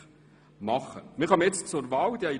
Wir kommen nun zur Wahl.